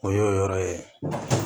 O y'o yɔrɔ ye